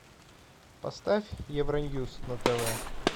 поставь евроньюс на тв